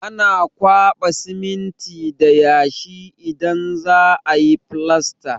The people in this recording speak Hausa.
Ana kwaɓa siminti da yashi idan za a yi filasta.